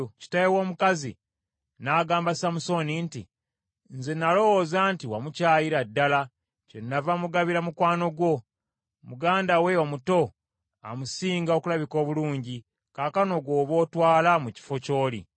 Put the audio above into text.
Kitaawe w’omukazi n’agamba Samusooni nti, “Nze nalowooza nti wamukyayira ddala, kyennava mugabira mukwano gwo. Muganda we omuto amusinga okulabika obulungi. Kaakano gw’oba otwala mu kifo ky’oli.”